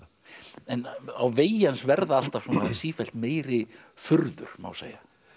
en á vegi hans verða alltaf sífellt meiri furður má segja